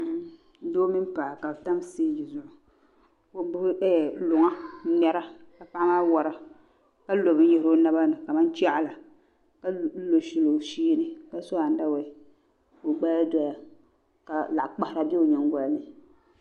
Doo mini paɣa ka bɛ tam siteegi zuɣu ka o gbubi luŋa ŋ-ŋmɛra ka paɣa maa wara ka lo binyɛhiri o naba ni kamani chaɣila ka lo shɛli o shee ni ka so anda wee ka o gbaya doya ka laɣikpahira be o nyingɔli ni.